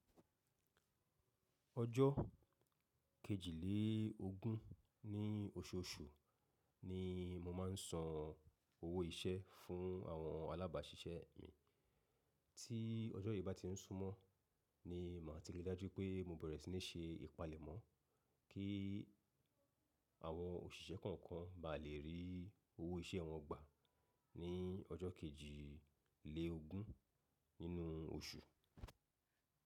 Ọjọ́ kejìlélógún ní oṣooṣù ni mo máa ń san owó iṣẹ́ fún àwọn alábàáṣiṣẹ́ mi. Tí ọjọ́ yìí bá ti ń súnmọ́ ni màá ti ri dájú pé mo bẹ̀rẹ̀ sí ní ṣe ìpalẹ̀mọ́ kí àwọn òṣìṣẹ́ kọ̀ọ̀kan bá lè rí owó iṣẹ́ wọn gbà ní ọjọ́ kejìlélógún nínú oṣù.